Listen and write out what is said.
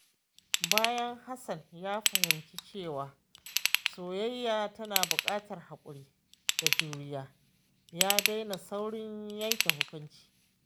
Bayan Hassan ya fahimci cewa soyayya tana buƙatar haƙuri da juriya, ya daina saurin yanke hukunci.